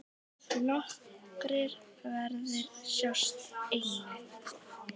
Nokkrir verðir sjást einnig.